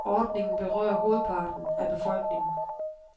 Ordningen berører hovedparten af befolkningen.